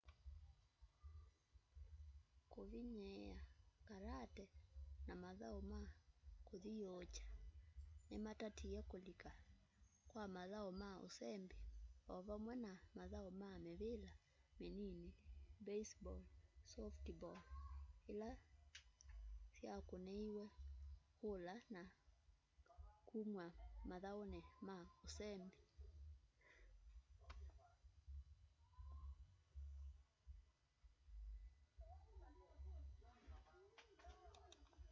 kũvĩnyĩĩa karate na mathaũ ma kũthĩũũkya nĩmatatĩe kũlĩka kwa mathaũ ma ũsembĩ ovamwe na mathaũ ma mĩvĩla mĩnĩnĩ baseball softball ĩla syakũnĩĩw'e kũla na kũmwa mathaũnĩ ma ũsembĩ